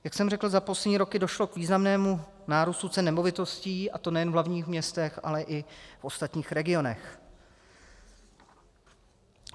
Jak jsem řekl, za poslední roky došlo k významnému nárůstu cen nemovitostí, a to nejen v hlavním městě, ale i v ostatních regionech.